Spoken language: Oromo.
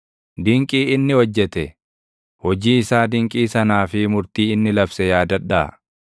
Dinqii inni hojjete, hojii isaa dinqii sanaa fi murtii inni labse yaadadhaa;